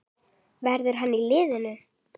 Verður hann í liðinu?